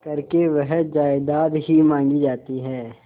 करके वह जायदाद ही मॉँगी जाती है